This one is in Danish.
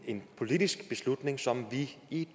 en politisk beslutning som vi i